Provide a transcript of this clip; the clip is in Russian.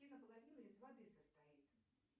и наполовину из воды состоит